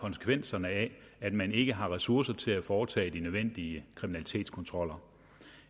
konsekvenserne af at man ikke har ressourcer til at foretage de nødvendige kriminalitetskontroller